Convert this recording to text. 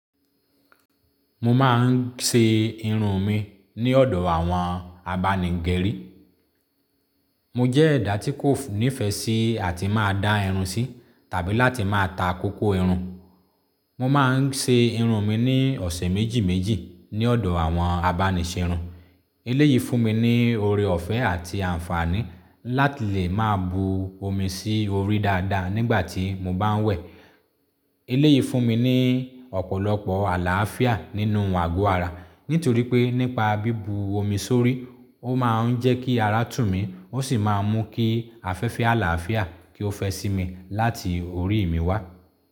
Mo máa ń ṣe irun mi ní ọ̀dọ̀ àwọn abánigẹrí. Mo jẹ́ ẹ̀dá tí kò nífẹ̀ẹ́ sí àti máa dá irun sí tàbí láti máa ta kókó irun. Mo máa ń ṣe irun mi ní ọ̀sẹ̀ méjì méjì ní ọ̀dọ̀ àwọn abánisẹ́irun. Ilé yìí fún mi ní oore ọ̀fẹ́ àti àǹfààní láti lè máa bu omi sí orí dáadáa nígbà tí mo bá ń wẹ̀. Eleyìí fún mi ní ọ̀pọ̀lọpọ̀ àlàáfíà nínú àgọ́ ara. Nítorí pé nípa bí bu omi sórí, ó máa ń jẹ́ kí ara tù mí, ó sì máa ń mú kí afẹ́fẹ́ àlàáfíà kí ó fẹ́ sí mi láti orí mi wá.